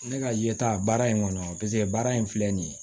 Ne ka yeta baara in kɔnɔ paseke baara in filɛ nin ye